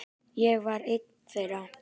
Ég var ein þeirra.